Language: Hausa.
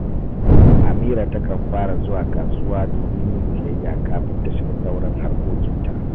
Amira takan fara zuwa kasuwa domin yin siyayya kafin ta shiga sauran harkokinta